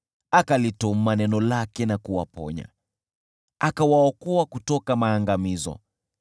Akalituma neno lake na kuwaponya, akawaokoa kutoka maangamizo yao.